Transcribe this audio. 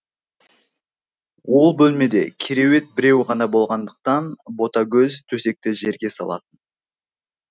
ол бөлмеде кереует біреу ғана болғандықтан ботагөз төсекті жерге салатын